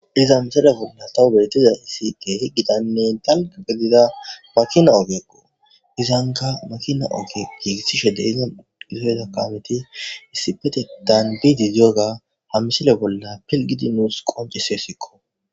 iza misere bolla tawu bettiza hisi te hi gitanne dalga gelida makina ogekqo izanka makina oge giigissishe deizan isoyda kaameti issipetetan biididoga hamisile bolla pilgidi nuus qoncise sikko